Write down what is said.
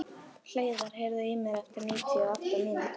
Hleiðar, heyrðu í mér eftir níutíu og átta mínútur.